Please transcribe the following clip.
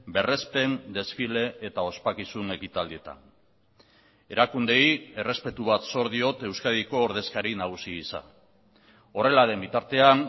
berrespen desfile eta ospakizun ekitaldietan erakundeei errespetu bat zor diot euskadiko ordezkari nagusi gisa horrela den bitartean